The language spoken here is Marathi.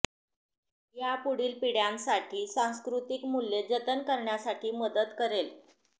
या पुढील पिढ्यांसाठी सांस्कृतिक मूल्ये जतन करण्यासाठी मदत करेल